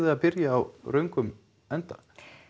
að byrja á öfugum enda